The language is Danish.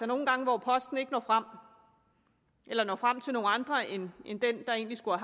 nogle gange at posten ikke når frem eller når frem til nogle andre end dem der egentlig skulle